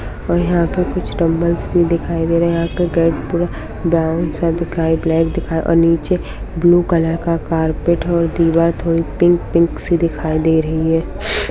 --और यहा पे कुछ डंबल्स भी दिखाई दे रहे है यहा के गेट पर ब्राउन सा दिखाई और ब्लैक दिखाई और नीचे ब्लू कलर का कार्पेट है और दीवार पिंक-पिंक सी दिखाई दे रही है।